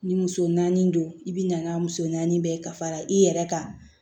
Ni muso naani don i bi na n'a muso naani bɛɛ fara i yɛrɛ kan